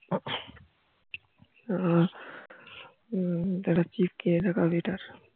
তুই একটা chip কিনে রাখ আগে এটার